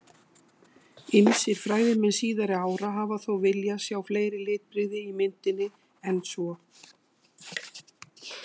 Ýmsir fræðimenn síðari ára hafa þó viljað sjá fleiri litbrigði í myndinni en svo.